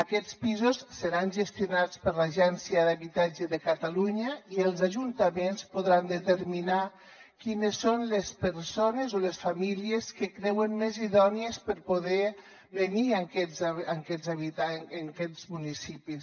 aquests pisos seran gestionats per l’agència de l’habitatge de catalunya i els ajuntaments podran determinar quines són les persones o les famílies que creuen més idònies per poder venir a aquests municipis